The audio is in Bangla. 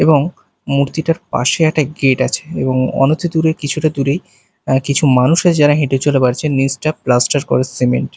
এবং মুর্তিটার পাশে একটা গেট আছে এবং অনতি দূরে কিছুটা দূরেই অ্যা কিছু মানুষ যারা হেঁটে চলে বেড়াচ্ছেন নিচটা প্লাস্টার করা সিমেন্ট --